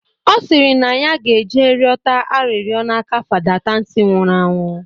Ọ sịrị na ya ge-eje rịọta arịrịọ n'aka Fada Tansị nwụrụ anwụ